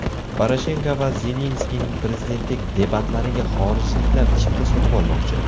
Poroshenko va Zelenskiyning prezidentlik debatlariga xorijliklar chipta sotib olmoqchi.